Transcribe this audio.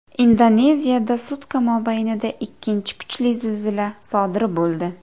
Indoneziyada sutka mobaynida ikkinchi kuchli zilzila sodir bo‘ldi.